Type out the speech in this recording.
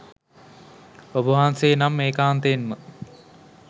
ඔබවහන්සේ නම් ඒකාන්තයෙන්ම